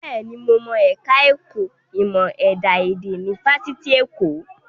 Bẹ́ẹ̀ni, mo mọ ẹ̀ka ẹ̀kọ́ ìmọ̀ ẹ̀dá èdè ní Fáṣitì Èkó